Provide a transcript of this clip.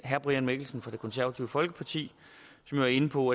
herre brian mikkelsen fra det konservative folkeparti har været inde på